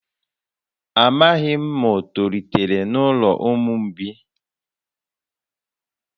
Amaghị m ma o tolitere n’ụlọ ụmụ mgbei